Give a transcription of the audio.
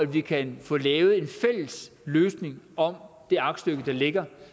vi kan få lavet en fælles løsning om det aktstykke der ligger